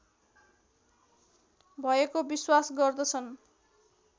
भएको विश्वास गर्दछन्